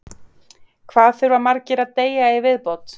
Hvað þurfa margir að deyja í viðbót?